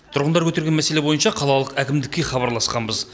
тұрғындар көтерген мәселе бойынша қалалық әкімдікке хабарласқанбыз